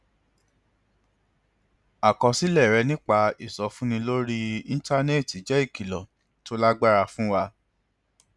àkọsílẹ rẹ nípa ìsọfúnni lórí íńtánẹẹtì jẹ ìkìlọ tó lágbára fún wa